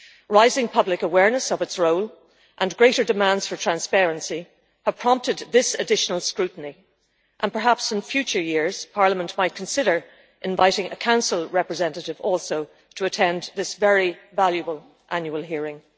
Rising public awareness of its role and greater demands for transparency have prompted this additional scrutiny and perhaps in future years Parliament might consider inviting a Council representative also to attend this very valuable annual hearing.